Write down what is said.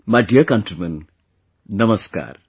My dear countrymen, Namaskar